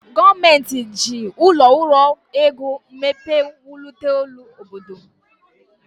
Gọọmenti ji ụlọ ọrụ ego mmepe wulite obodo.